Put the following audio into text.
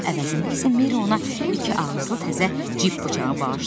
Bunun əvəzində isə Merri ona iki ağızlı təzə cibb bıçağı bağışladı.